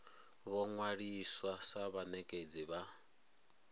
vho ṅwaliswa sa vhanekedzi vha